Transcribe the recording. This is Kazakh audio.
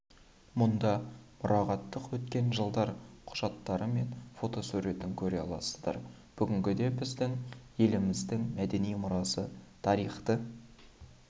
мұнда мұрағаттық өткен жылдар құжаттары мен фотосуретін көре аласыздар бүгінде біздің еліміздіңбай мәдени мұрасы тарихты